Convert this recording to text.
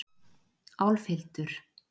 Álfhildur